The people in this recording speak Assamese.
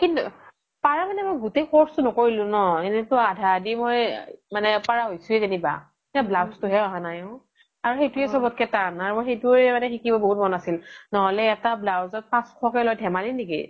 তাৰ মানে মই গুতেই course ন্কৰিলো ন এনে তো আধা আধি মই পাৰা হৈছোয়ে যেনিবা এ blouse তো হে আহা নাই ও আৰু সেইতো য়ে চ্ব্ত্কে তান আৰু মানে সেইতো য়ে শিকিব বহুত মন আছিল ন্হ্'লে এটা blouse ত পাচশ লে লই ধেমালি নেকি